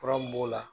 Fura mun b'o la